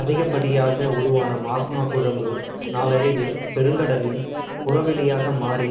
அதிகப்படியாக உருவான மாக்மா குழம்பு நாளடைவில் பெருங்கடலின் புறவெளியாக மாறி